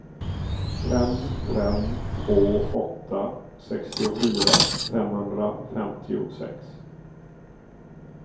fem fem två åtta sextiofyra femhundrafemtiosex